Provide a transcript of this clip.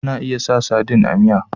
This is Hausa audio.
Ana iya sa sadin a miya